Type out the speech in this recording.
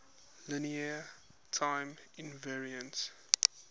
linear time invariant